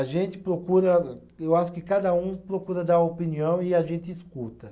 A gente procura. Eu acho que cada um procura dar opinião e a gente escuta.